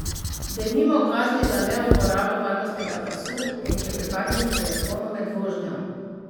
Denimo kazni za neuporabo varnostnega pasu in klepetanje po telefonu med vožnjo.